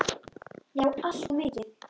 Já, alltof mikið.